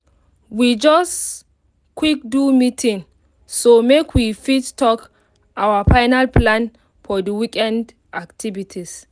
we just quick do meeting so make we fit talk our final plan for the weekend activities